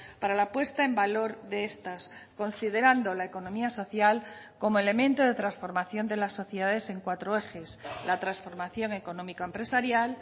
para la puesta en valor de estas considerando la economía social como elemento de transformación de las sociedades en cuatro ejes la transformación económico empresarial